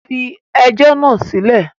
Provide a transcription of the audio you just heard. Fi ẹjọ́ náà sílẹ̀!